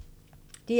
DR1